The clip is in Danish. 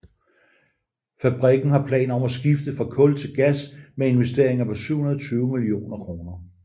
Fabrikken har planer om at skifte fra kul til gas med investeringer på 720 mio kr